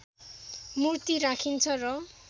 मूर्ति राखिन्छ र